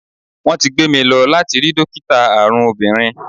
Wón ti gbé mi lọ láti rí dókítà àrùn obìnrin.